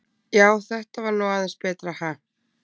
Já, þetta var nú aðeins betra, ha!